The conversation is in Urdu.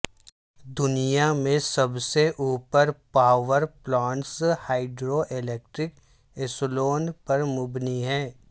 دنیا میں سب سے اوپر پاور پلانٹس ہائیڈرو الیکٹرک اصولوں پر مبنی ہیں